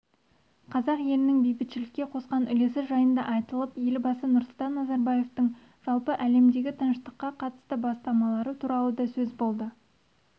қазақ елінің бейбітшілікке қосқан үлесі жайында айтылып елбасы нұрсұлтан назарбаевтың жалпы әлемдегі тыныштыққа қатысты бастамалары туралы да сөз болды